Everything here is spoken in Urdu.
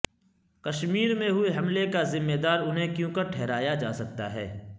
کشمیر میں ہوئے حملہ کا ذمہ دار انہیں کیونکر ٹھہرایا جاسکتا ہے